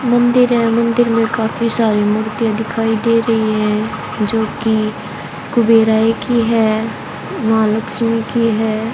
मंदिर है मंदिर में काफी सारी मूर्तियां दिखाई दे रही है जोकि कुबेराय की है मां लक्ष्मी की है।